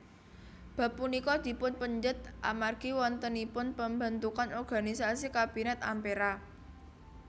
Bab punika dipunpendhet amargi wontenipun pembentukan organisasi Kabinet Ampera